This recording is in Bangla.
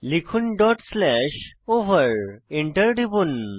লিখুন ডট স্ল্যাশ ওভার Enter টিপুন